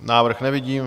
Návrh nevidím.